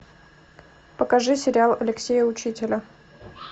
покажи сериал алексея учителя